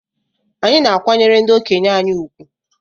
Anyị na-akwanyere ndị okenye anyị ùgwù.